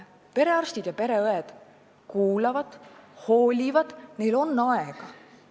Perearstid ja pereõed kuulavad, hoolivad, neil on aega.